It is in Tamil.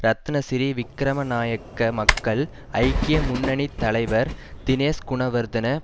ரத்னசிரி விக்கிரமநாயக்க மக்கள் ஐக்கிய முன்னணி தலைவர் தினேஷ் குணவர்தன